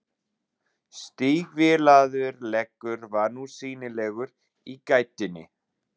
Stígvélaður leggur var nú sýnilegur í gættinni.